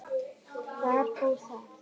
Þar fór það.